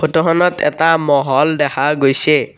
Photo খনত এটা মহল দেখা গৈছে।